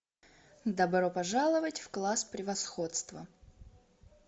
добро пожаловать в класс превосходства